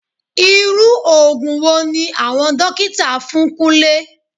Irú òògùn wo ni àwọn dókítà fún Kúnlé?